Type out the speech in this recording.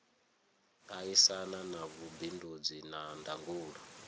aisana na vhubindudzi na ndangulo